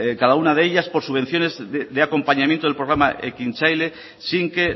cada una de ellas por subvenciones de acompañamiento del programa ekintzaile sin que